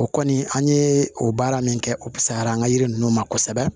O kɔni an ye o baara min kɛ o say'a la an ka yiri ninnu ma kosɛbɛ